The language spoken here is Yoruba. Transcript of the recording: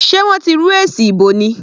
Sé wọ́n ti rú èsì ìbò ni?